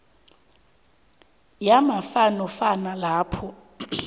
yamafa nofana lapha